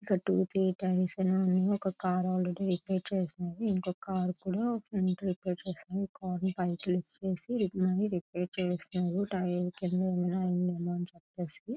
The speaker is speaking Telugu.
టూ త్రీ టైమ్స్ అయినా ఒక కారు ఆల్రెడీ రిపేర్ చేస్తున్నారు ఇంకొక కారు కూడా రిపేరు చేస్తున్నారు --